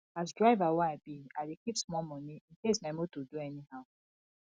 as driver wey i be i dey keep small moni incase my moto do anyhow